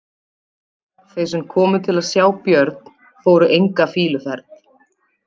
Þeir sem komu til að sjá Björn fóru enga fýluferð.